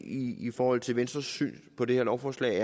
i forhold til venstres syn på det her lovforslag